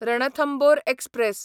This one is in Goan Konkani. रणथंबोर एक्सप्रॅस